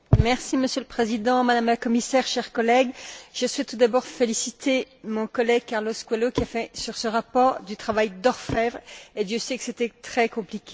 Monsieur le Président, Madame la Commissaire, chers collègues, je souhaite tout d'abord féliciter mon collègue, Carlos Coelho, qui a fait sur ce rapport du travail d'orfèvre, et Dieu sait que c'était très compliqué.